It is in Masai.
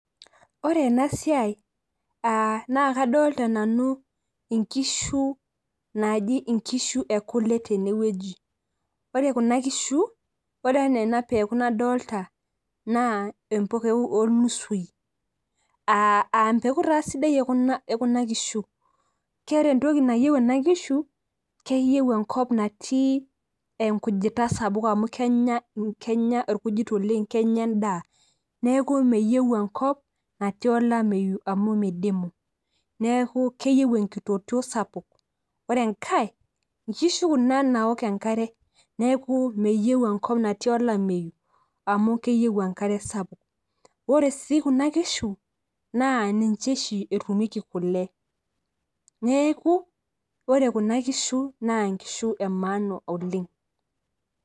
ore ena siai naa kadolta nanu nkishu, naaji nkishu ekule tene wueji, ore kuna kishu. ore anaa ena eku nadoolta, naa empeku olnusui, aa empeku taa sidai ena ekuna kishu, keeta entoki nayieu kuna kisu, keyieu enkop natii enkujita sapuk amu kenya irkujit oleng kenya edaa, neeku emeyieu enkop natii olameyu amu midimu. neeku keyieu enkitotio sapuk, ore enkae nkishu kuna naok enkare, neeku meyieu enkop natii olameyu, amu keyieu enkare sapuk. ore sii kuna kishu, naa ninche oshi etumieki kule, neeku ore kuna kishu naa ine maana aoleng.